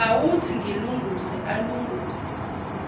awuthi ngilunguze alunguze